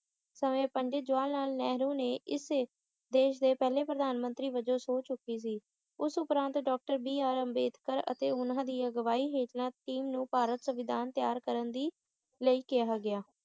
ਸਮੇਂ ਪੰਡਿਤ ਜਵਾਹਰ ਲਾਲ ਨਹਿਰੂ ਨੇ ਇਸ ਦੇਸ਼ ਦੇ ਪਹਿਲੇ ਪ੍ਰਧਾਨ ਮੰਤਰੀ ਵਜੋਂ ਤੇ ਸਹੁੰ ਚੁੱਕੀ ਸੀ ਉਸ ਉਪਰਾਂਤ ਡਾਕਟਰ ਬੀ ਆਰ ਅੰਬੇਡਕਰ ਅਤੇ ਉਨ੍ਹਾਂ ਦੀ ਅਗੁਆਈ ਹੇਠਾਂ team ਨੂੰ ਭਾਰਤ ਸੰਵਿਧਾਨ ਤਿਆਰ ਕਰਨ ਦੀ ਲਈ ਕਿਹਾ ਗਿਆ